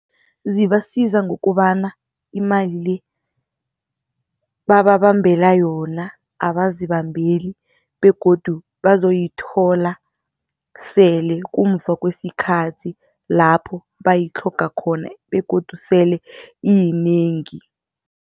Zibasiza ngokobana imali le, bababambela yona abazibambela begodu bazokuyithola sele kungemva kwesikhathi lapho bayitlhoga khona begodu sele iyinengi.